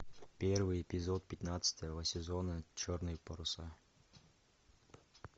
первый эпизод пятнадцатого сезона черные паруса